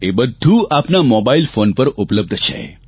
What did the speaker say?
એ બધું આપના mobile phone પર ઉપલબ્ધ છે